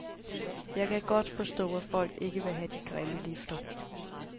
Jeg kan godt forstå, at folk ikke vil have de grimme lifter.